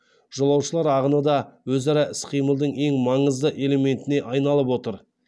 жолаушылар ағыны да өзара іс қимылдың ең маңызды элементіне айналып отыр